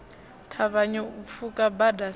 ṱavhanye u pfuka bada sa